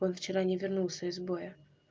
он вчера не вернулся из боя